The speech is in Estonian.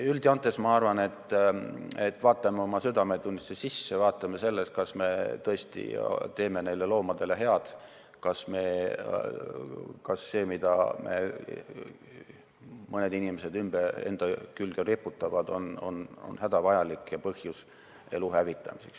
Üldjoontes ma arvan, et kuulame oma südametunnistust, vaatame, kas me tõesti teeme neile loomadele head, kas see, mida mõned inimesed enda külge riputavad, on hädavajalik ja põhjus elu hävitamiseks.